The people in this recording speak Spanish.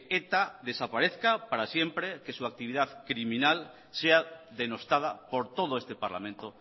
eta desaparezca para siempre que su actividad criminal sea denostada por todo este parlamento